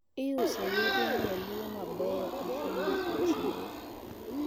Iuso yedhe nyaluo mabeyo ahinya e chiro.